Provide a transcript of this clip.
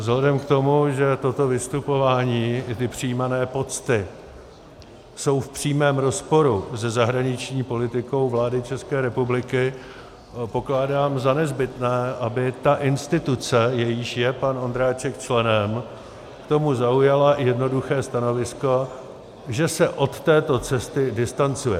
Vzhledem k tomu, že toto vystupování i ty přijímané pocty jsou v přímém rozporu se zahraniční politikou vlády České republiky, pokládám za nezbytné, aby ta instituce, jejíž je pan Ondráček členem, k tomu zaujala jednoduché stanovisko, že se od této cesty distancuje.